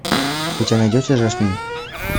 у тебя найдется жасмин